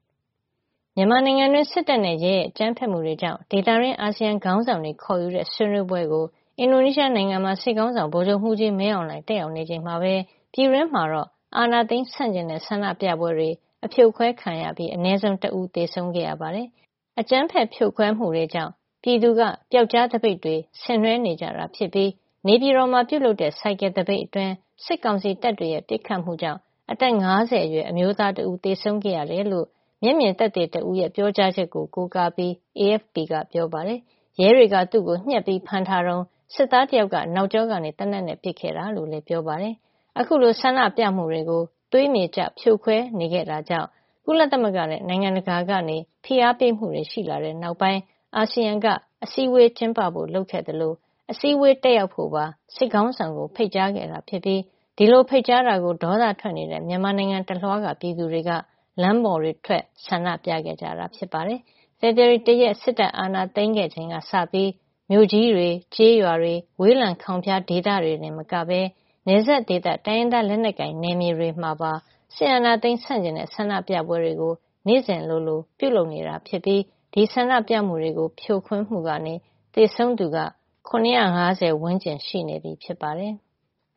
မြန်မာနိုင်ငံတွင်း စစ်တပ်နဲ့ ရဲရဲ့ အကြမ်းဖက်မှုတွေကြောင့် ဒေသတွင်း အာဆီယံ ခေါင်းဆောင်တွေခေါ်ယူတဲ့ ဆွေးနွေးပွဲကို အင်ဒိုနီးရှားနိုင်ငံမှာ စစ်ခေါင်းဆောင် ဗိုလ်ချုပ်မှုးကြီး မင်းအောင်လှိုင် တက်ရောက်နေချိန်မှာပဲ ပြည်တွင်းမှာတော့ အာဏာသိမ်းဆန့်ကျင်တဲ့ ဆန္ဒပြပွဲတွေ အဖြိုခွဲခံရပြီး အနည်းဆုံး တဦး သေဆုံးခဲ့ရပါတယ်။ အကြမ်းဖက်ဖြိုခွဲမှုတွေကြောင့် ပြည်သူက ပျောက်ကြားသပိတ်တွေ ဆင်နွဲနေကြတာ ဖြစ်ပြီး နေပြည်တော်မှာ ပြုလုပ်တဲ့ ဆိုင်ကယ်သပိတ်အတွင်း စစ်ကောင်စီတပ်တွေ ပစ်ခတ်မှုကြောင့် အသက် ၅၀ အရွယ် အမျိုးသားတဦး သေဆုံးခဲ့ရတယ်လို့ မျက်မြင်သက်သေတဦးရဲ့ ပြောကြားချက်ကို ကိုးကားပြီး AFP ကပြောပါတယ်။ ရဲတွေက သူ့ကို ညှပ်ဖမ်းထားတုန်း စစ်သားတယောက်က နောက်ကြောကနေ သေနတ်နဲ့ ပစ်ခဲ့တာလို့ ပြောပါတယ်။ အခုလို ဆန္ဒပြတာကို သွေးမြေကျ ဖြိုခွဲခဲ့တာကြောင့် ကုလသမဂ္ဂနဲ့ နိုင်ငံတကာက.ဖိအားပေးမှုတွေ ရှိလာတဲ့နောက်ပိုင်း အာဆီယံက အစည်းအဝေး ကျင်းပဖို့ လုပ်ခဲ့သလို ၊ အစည်းဝေး တက်ရောက်ဖို့ပါ စစ်ခေါင်းဆောင်ကို ဖိတ်ကြားခဲ့တာဖြစ်ပြီး ဒီလို ဖိတ်ကြားတာကို ဒေါသထွက်ကြတဲ့ မြန်မာနိုင်ငံတလွှား ပြည်သူတွေ လမ်းတွေပေါ်ထွက် ဆန္ဒပြခဲ့တာပါ။ ဖေဖေါ်ဝါရီ ၁ ရက် စစ်တပ်အာဏာသိမ်းခဲ့ ချိန်ကစပြီး မြို့ကြီးတွေ ကျေးရွာတွေ၊ ဝေးလံခေါင်ဖျား ဒေသတွေ တင်မကပဲ နယ်စပ်ဒေသ တိုင်းရင်းသားလက်နက်ကိုင် နယ်မြေတွေမှာပါ စစ်အာဏာသိမ်း ဆန့်ကျင်တဲ့ ဆန္ဒပြပွဲတွေ နေ့စဉ်လိုလို ပြုလုပ်နေတာ ဖြစ်ပြီး ဒီဆန္ဒပြပွဲတွေကို ဖြိုခွင်းမှုကနေ သေဆုံးသူ ၇၅၀ ကျော် ရှိနေပြီဖြစ်ပါတယ်။